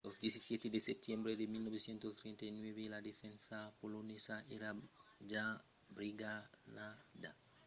lo 17 de setembre de 1939 la defensa polonesa èra ja brigalhada e lo sol espèr èra de se retirar e se reorganizar long del cap de pont romanés